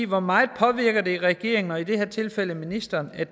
hvor meget påvirker det regeringen og i det her tilfælde ministeren at